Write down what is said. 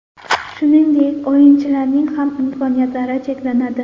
Shuningdek, o‘yinchilarning ham imkoniyatlari cheklanadi.